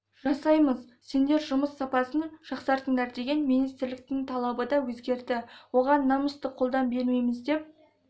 жасаймыз сендер жұмыс сапасын жақсартыңдар деген министрліктің талабы да өзгерді оған намысты қолдан бермейміз деп